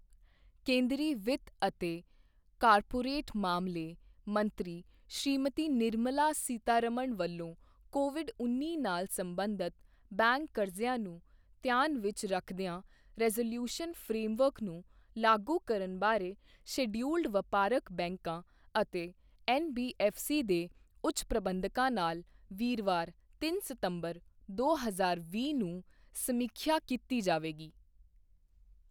ਕੇਂਦਰੀ ਵਿੱਤ ਅਤੇ ਕਾਰਪੋਰੇਟ ਮਾਮਲੇ ਮੰਤਰੀ ਸ੍ਰੀਮਤੀ ਨਿਰਮਲਾ ਸੀਤਾਰਮਣ ਵਲੋਂ ਕੋਵਿਡ ਉੱਨੀ ਨਾਲ ਸਬੰਧਤ ਬੈਂਕ ਕਰਜ਼ਿਆਂ ਨੂੰ ਧਿਆਨ ਵਿੱਚ ਰੱਖਦਿਆਂ ਰੈਜ਼ੋਲੂਉਸ਼ਨ ਫਰੇਮਵਰਕ ਨੂੰ ਲਾਗੂ ਕਰਨ ਬਾਰੇ ਸ਼ੇਡਯੂਲਡ ਵਪਾਰਕ ਬੈਂਕਾਂ ਅਤੇ ਐਨਬੀਐਫਸੀ ਦੇ ਉੱਚ ਪ੍ਰਬੰਧਕਾਂ ਨਾਲ ਵੀਰਵਾਰ ਤਿੰਨ ਸਤੰਬਰ, ਦੋ ਹਜ਼ਾਰ ਵੀਹ ਨੂੰ ਸਮੀਖਿਆ ਕੀਤੀ ਜਾਵੇਗੀ।